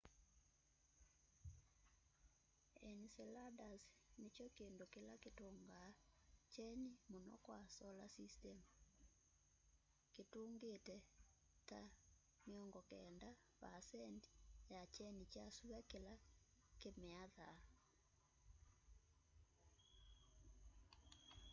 enceladus nikyo kindu kila kitungaa kyeni muno kwa solar system kitungite ta 90 vaasendi ya kyeni kya sua kila kimiathaa